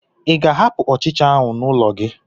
Ị ga-ahapụ ọchịcha ahụ n'ụlọ gị?